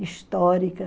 histórica.